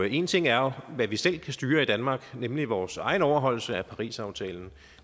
én ting er hvad vi selv kan styre i danmark nemlig vores egen overholdelse af parisaftalen